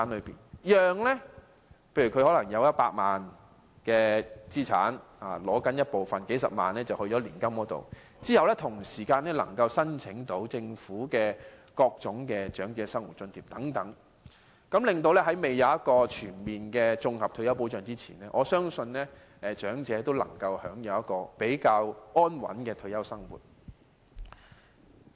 例如長者有100萬元資產，當他撥出數十萬元投放到年金計劃，便能申請政府的各種長者生活津貼，這樣在未有全面的綜合退休保障前，我相信長者也能夠享有較安穩的退休生活。